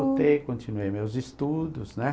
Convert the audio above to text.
Voltei, continuei meus estudos, né?